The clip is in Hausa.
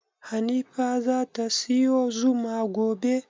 Hanifa zata siyo zuma gobe?